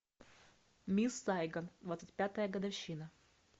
мисс сайгон двадцать пятая годовщина